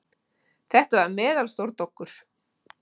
Þetta var meðalstór doggur.